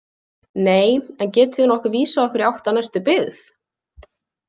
Nei, en getið þið nokkuð vísað okkur í átt að næstu byggð?